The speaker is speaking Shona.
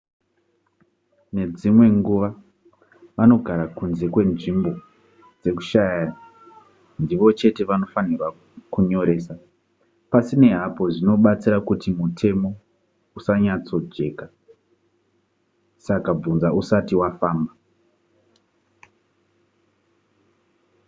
nedzimwe nguva vanogara kunze kwenzvimbo dzekushanya ndivo chete vanofanirwa kunyoresa pasinei hapo zvinobatsira kuti mutemo usanyatsojeka saka bvunza usati wafamba